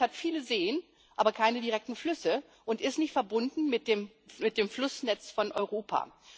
Finnland hat viele Seen, aber keine direkten Flüsse und ist nicht verbunden mit dem Flussnetz Europas.